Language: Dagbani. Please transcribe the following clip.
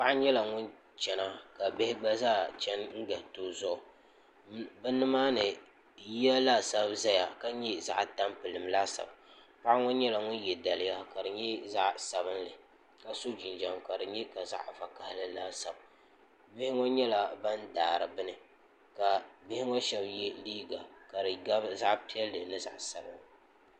paɣa nyɛla ŋun chɛna ka bihi gba zaa chɛni n gariti o zuɣu bi nimaani yiya laasabu ʒɛya ka nyɛ zaɣ tampilim laasabu paɣa ŋɔ nyɛla ŋun yɛ daliya ka di nyɛ zaɣ sabinli ka so jinjɛm ka di bɛ ka zaɣ vakaɣali laasabu bihʋ ŋɔ nyɛla ban daari bini ka bihi ŋɔ shab yɛ liiga ka di gabi zaɣ piɛlli ni zaɣ sabinli